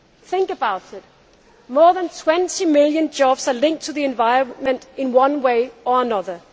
Think about it more than 20 million jobs are linked to the environment in one way or another.